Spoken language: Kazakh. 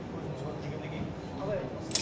көзіміз көріп жүргеннен кейін қалай айтпасқа